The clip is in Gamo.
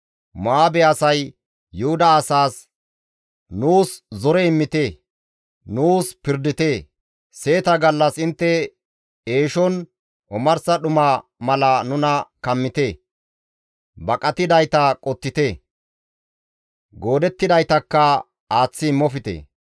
Mo7aabe asay Yuhuda asaas, «Nuus zore immite; nuus pirdite; seeta gallas intte eeshon omarsa dhuma mala nuna kammite. Baqatidayta qottite; goodettidaytakka aaththi immofte.